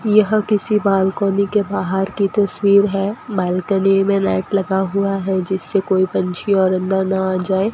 यह किसी बालकनी के बाहर की तस्वीर है बालकनी में मेट लगा हुआ है जिससे कोई पंछी और अंदर ना आ जाए।